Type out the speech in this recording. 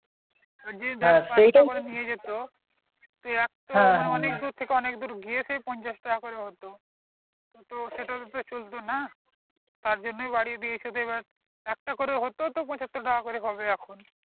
নিয়ে যেত অনেক দূর থেকে অনেক দূর গিয়েছে পঞ্চাশ টাকা করে হতো তো এটার উপরে তো চলত না তার জন্যে বারিয়ে দিয়েছে এবার একটা করে হতো তো পচাত্তর টাকা করে হবে এখন